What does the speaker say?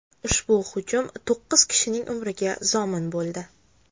Ushbu hujum to‘qqiz kishining umriga zomin bo‘ldi.